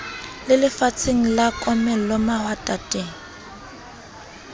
le lefatsheng la komello mahwatateng